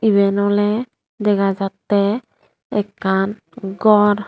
eben oley dega jattey ekkan gor.